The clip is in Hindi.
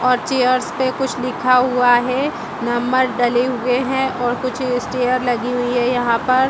और चेयर्स पे कुछ लिखा हुआ है नंबर डले हुए हैं और कुछ स्टेयर लगी हुई है यहां पर।